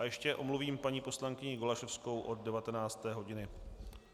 A ještě omluvím paní poslankyni Golasowskou od 19. hodiny.